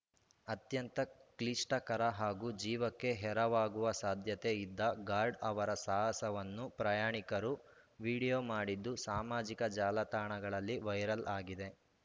ಅತ್ಯಂತ ಕ್ಲಿಷ್ಟಕರ ಹಾಗೂ ಜೀವಕ್ಕೆ ಎರವಾಗುವ ಸಾಧ್ಯತೆ ಇದ್ದ ಗಾರ್ಡ್‌ ಅವರ ಸಾಹಸವನ್ನು ಪ್ರಯಾಣಿಕರು ವಿಡಿಯೋ ಮಾಡಿದ್ದು ಸಾಮಾಜಿಕ ಜಾಲತಾಣದಲ್ಲಿ ವೈರಲ್‌ ಆಗಿದೆ